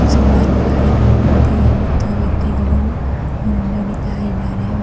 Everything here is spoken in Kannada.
ಸುಮಾರು ಗಾಡಿಗಳು ನಿಂತಿವೆ ಮತ್ತು ವ್ಯಕ್ತಿಗಳು ನಡೀತಾ ಇದ್ದಾರೆ.